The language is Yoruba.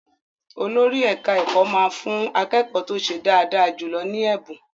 Olórí ẹ̀ka-ẹ̀kọ́ máa fú akékọ́ọ̀ tó ṣe dáadáa jùlọ ní ẹ̀bùn.